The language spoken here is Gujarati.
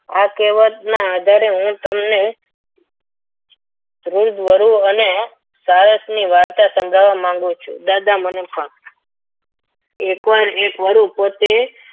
આ કહેવતના આધારે હું તને વૃદ્ધ વરુ અને સારસની વાર્તા સમજાવવા માંગુ છું દાદા મને કહો એક વાર એક વારુ પોતે